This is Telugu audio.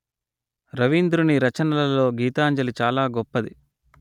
రవీంద్రుని రచనలలో గీతాంజలి చాల గొప్పది